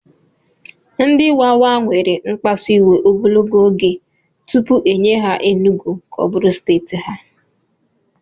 Ndị Wawa were mkpasu iwe ogologo oge tupu e nye ha Enugwu ka ọ bụrụ steeti ha